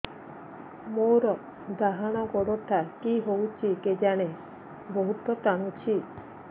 ମୋର୍ ଡାହାଣ୍ ଗୋଡ଼ଟା କି ହଉଚି କେଜାଣେ ବହୁତ୍ ଟାଣୁଛି